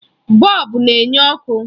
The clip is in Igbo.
Bọlbụ na-enye ọkụ.